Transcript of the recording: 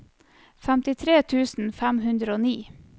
femtitre tusen fem hundre og ni